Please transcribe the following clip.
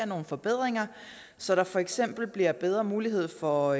nogle forbedringer så der for eksempel bliver bedre mulighed for